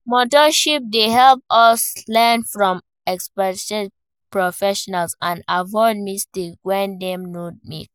Mentorship dey help us learn from experienced professionals and aviod mistakes wey dem don make.